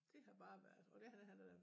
Det har bare været og det han han har da